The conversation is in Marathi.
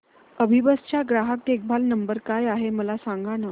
अभिबस चा ग्राहक देखभाल नंबर काय आहे मला सांगाना